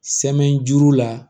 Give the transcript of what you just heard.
Sɛmɛni juru la